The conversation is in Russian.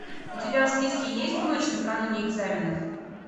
у тебя в списке есть ночь накануне экзаменов